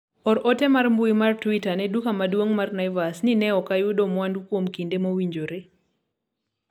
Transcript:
or ote mar mbui mar twita ne duka maduong' mar naivas ni ne ok ayudo mwandu kuom kinde mowinjore